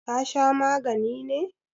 ka Sha magani ne!